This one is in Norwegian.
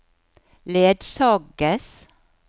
ledsages